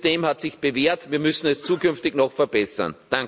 Das System hat sich bewährt, wir müssen es zukünftig noch verbessern.